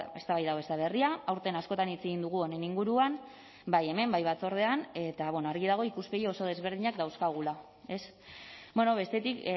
eztabaida hau ez da berria aurten askotan hitz egin dugu honen inguruan bai hemen bai batzordean eta argi dago ikuspegi oso desberdinak dauzkagula ez bestetik